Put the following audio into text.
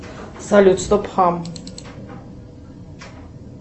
салют стоп хам